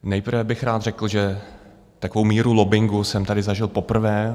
Nejprve bych rád řekl, že takovou míru lobbingu jsem tady zažil poprvé.